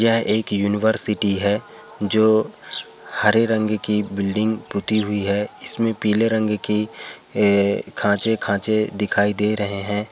ये एक यूनिवर्सिटी है । जो हरे रंग की बिल्डिंग पुती हुई है। इसमें पीले रंग की अ- खाचे खाचे दिखाई दे रहे है।